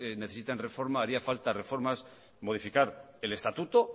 necesitan reforma haría falta reformar modificar el estatuto